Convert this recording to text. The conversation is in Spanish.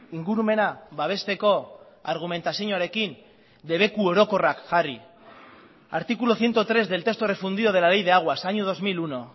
ingurumena babesteko argumentazioarekin debeku orokorrak jarri artículo ciento tres del texto refundido de la ley de aguas año dos mil uno